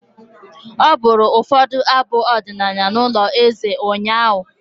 Ọ bụrụ ụfọdụ abụ ọdịnala n'ụlọ eze ụnyaahụ.